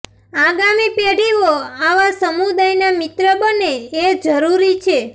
આગામી પેઢીઓ આવા સમુદાયના મિત્ર બને એ જરૂરી છે